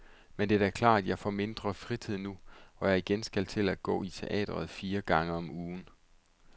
Men det er da klart, at jeg får mindre fritid nu, hvor jeg igen skal til at gå i teatret fire gange om ugen.